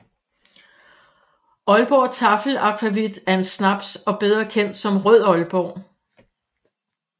Aalborg Taffel Akvavit er en snaps og bedre kendt som Rød Aalborg